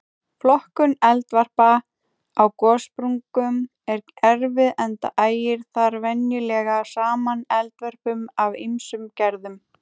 Flokkun eldvarpa á gossprungum er erfið enda ægir þar venjulega saman eldvörpum af ýmsum gerðum.